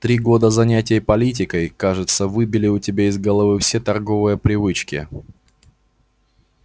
три года занятий политикой кажется выбили у тебя из головы все торговые привычки